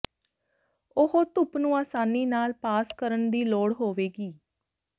ਉਹ ਧੁੱਪ ਨੂੰ ਆਸਾਨੀ ਨਾਲ ਪਾਸ ਕਰਨ ਦੀ ਲੋੜ ਹੋਵੇਗੀ